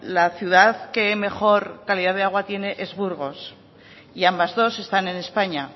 la ciudad que mejor calidad de agua tiene es burgos y ambas dos están en españa